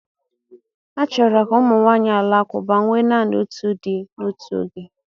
A chọrọ ka ụmụ nwanyị Alakụba nwee naanị otu di n'otu oge.